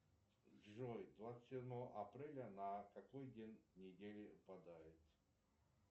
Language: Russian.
джой двадцать седьмого апреля на какой день недели выпадает